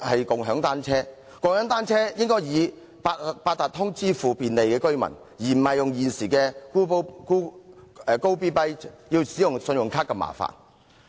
共享單車的費用應以八達通卡支付，便利居民，而不是如現時 Gobee.bike 要以信用卡支付般麻煩。